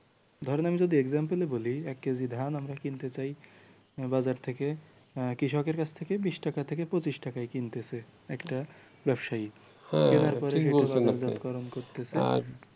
ধরেন আমি যদি example বলি এক কেজি ধান আমরা কিনতে চাই বাজার থেকে কৃষকের কাছ থেকে বিশ টাকা থেকে পঁচিশ টাকায় কিনতেছে একটা ব্যবসায়ী